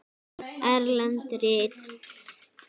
Erlend rit